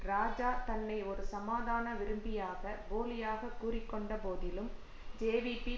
இராஜா தன்னை ஒரு சமாதான விரும்பியாக போலியாக கூறி கொண்ட போதிலும் ஜேவிபி